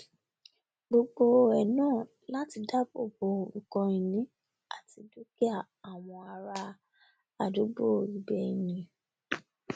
gbogbo ẹ náà láti dáàbò bo nkan ìní àti dúkìá àwọn ará àdúgbò ibẹ ni